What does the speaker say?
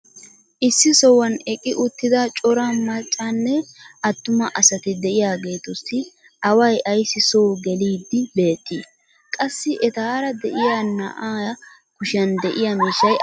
issi sohuwan eqqi uttida cora maccanne attuma asati diyaageetussi away ayssi soo geliidi beetii? qassi etaara de'iyaa na"aa kushiyan diya miishshay aybee?